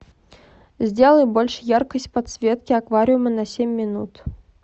сделай больше яркость подсветки аквариума на семь минут